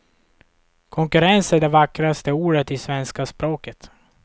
Konkurrens är det vackraste ordet i svenska språket.